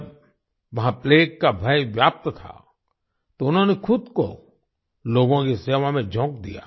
जब वहां प्लेग का भय व्याप्त था तो उन्होंने खुद को लोगों की सेवा में झोंक दिया